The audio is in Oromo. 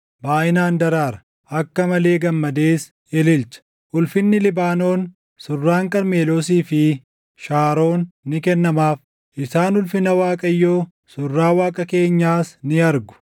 baayʼinaan daraara; akka malee gammadees ililcha. Ulfinni Libaanoon, surraan Qarmeloosii fi Shaaroon ni kennamaaf; isaan ulfina Waaqayyoo, surraa Waaqa keenyaas ni argu.